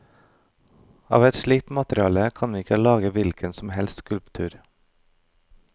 Av et slikt materiale kan vi ikke lage hvilken som helst skulptur.